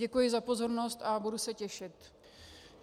Děkuji za pozornost a budu se těšit.